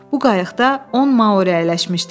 Bu qayıqda 10 Mauri əyləşmişdi.